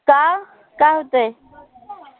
का? काय होतंय?